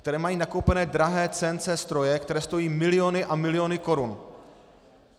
Které mají nakoupené drahé CNC stroje, které stojí miliony a miliony korun.